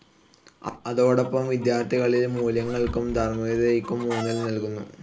അതോടൊപ്പം വിദ്യാർഥികളിൽ മൂല്യങ്ങൾക്കും ധാർമികഥയ്ക്കും ഊന്നൽ നൽകുന്നു.